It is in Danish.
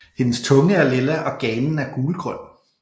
Hendes tunge er lilla og ganen er gulgrøn